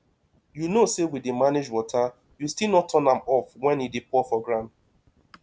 you know say we dey manage water you still no turn am off wen e dey pour for ground